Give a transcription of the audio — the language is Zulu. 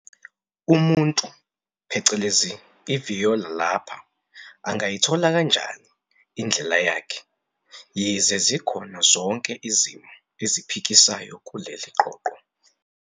Umuntu, i-viola lapha, angayithola kanjani indlela yakhe, yize zikhona zonke izimo eziphikisayo kuleli qoqo?